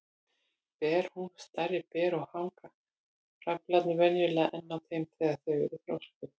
Ber hún stærri ber og hanga frævlarnir venjulega enn á þeim þegar þau eru þroskuð.